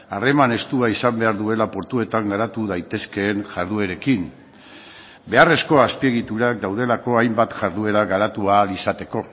harreman estua izan behar duela portuetan garatu daitezkeen jarduerekin beharrezko azpiegiturak daudelako hainbat jarduera garatu ahal izateko